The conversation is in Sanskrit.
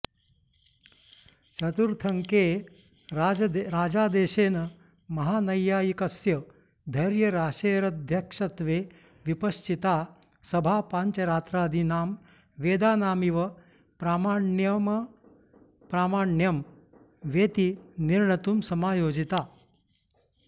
चतुर्थेऽङ्के राजादेशेन महानैयायिकस्य धैर्यराशेरध्यक्षत्वे विपश्चिता सभा पाञ्चरात्रादीनां वेदानामिव प्रामाण्यमप्रामाण्यं वेति निर्णतुं समायोजिता